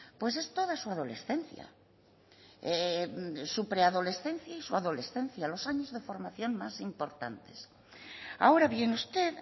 pues es toda su adolescencia su preadolescencia y su adolescencia los años de formación más importantes ahora bien usted